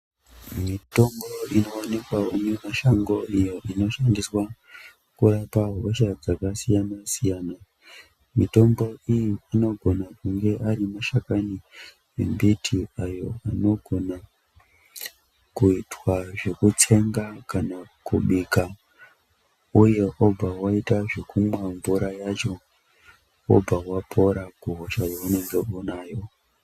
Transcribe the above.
Mitombo inoonekwa mimashango iyo inoshandiswa kurapa hosha dzakasiyana siyana. Mitombo iyi inogona kunge ari mashakani embiti ayo anogona kuitwa zvekutsenga kana kubika uye wobva waita zvekumwa mvura yacho wobva wapora kuhosha yaunenge unayo .